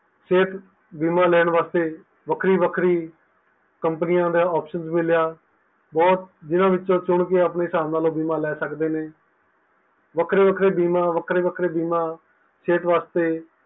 ਸਿਹਤ ਬੀਮਾ ਲੈਣ ਵਾਸਤੇ ਵੱਖਰੀ ਵੱਖਰੀ companies ਦਾ option ਮਿਲਿਆ ਬਹੁਤ ਜਿੰਨਾ ਵਿੱਚੋ ਚੁਣ ਕਿ ਬੀਮਾ ਲੈ ਸਕਦੇ ਨੇ ਵੱਖਰੇ ਵੱਖਰੇ ਬੀਮਾ ਵੱਖਰੇ ਵੱਖਰੇ ਬੀਮਾ ਸਿਹਤ ਵਾਸਤੇ